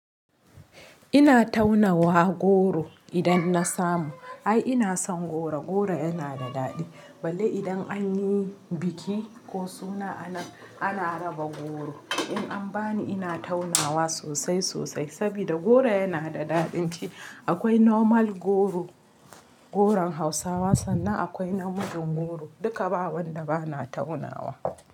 Ina taunawa goro idan na samu. Ai ina son goro, goro yana da daɗi. Balle idan an yi biki ko suna ana raba goro. In an bani ina taunawa sosai sosai. Saboda goro yana da daɗin ci. Akwai normal goro, goron Hausawa sannan akwai namijin goro duka ba wanda bana taunawa.